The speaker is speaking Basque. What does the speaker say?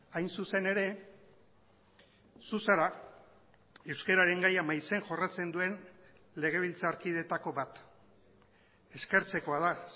hain zuzen ere zu zara euskararen gaia maizen jorratzen duen legebiltzarkideetako bat eskertzekoa da